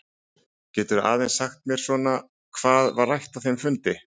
Geturðu aðeins sagt mér svona hvað var rætt á þeim fundi?